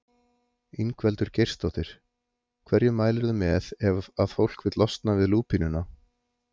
Ingveldur Geirsdóttir: Hverju mælirðu með ef að fólk vill losna við lúpínuna?